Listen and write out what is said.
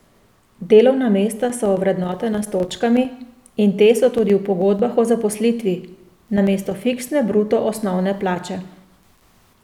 Delovna mesta so ovrednotena s točkami in te so tudi v pogodbah o zaposlitvi, namesto fiksne bruto osnovne plače.